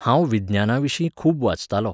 हांव विज्ञानाविशीं खूब वाचतालों.